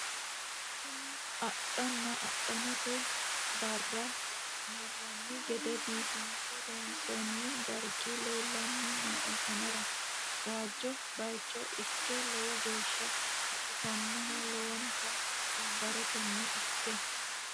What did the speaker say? kuni adhana adhamate barra marranni gede biifinse loonsoonni dargi leellanni nooe anera waajjo baycho ikke lowo geeshsha baxisannoho lowonta wombarantenni ikke